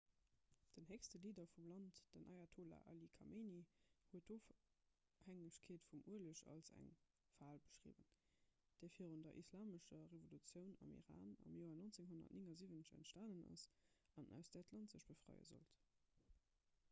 den héchste leader vum land den ayatollah ali khamenei huet d'ofhängegkeet vum ueleg als eng fal beschriwwen déi virun der islamescher revolutioun am iran am joer 1979 entstanen ass an aus där d'land sech befreie sollt